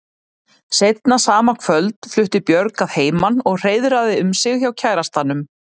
Seinna sama kvöld flutti Björg að heiman og hreiðraði um sig hjá kærastanum.